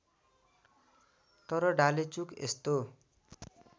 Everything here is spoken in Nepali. तर डालेचुक यस्तो